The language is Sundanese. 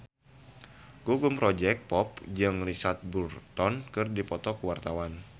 Gugum Project Pop jeung Richard Burton keur dipoto ku wartawan